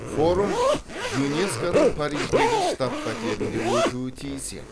форум юнеско ның париждегі штаб пәтерінде өтуі тиіс еді